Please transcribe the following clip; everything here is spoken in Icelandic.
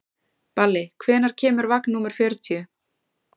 Balli, hvenær kemur vagn númer fjörutíu?